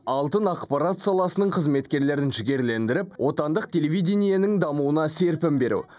алтын ақпарат саласының қызметкерлерін жігерлендіріп отандық телевидениенің дамуына серпін беру